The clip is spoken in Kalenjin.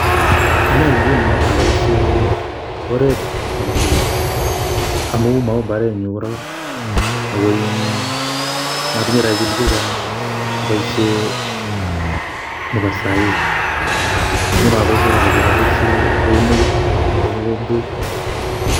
Anee nguno abaishee oret nebo keny, amuu maoo mbaret nyu koraa, akoiin motinye robishek chechang, aboishee nebo saaii. Ngunoo aboishee nebo keny, aboishee keunek ak mogombet.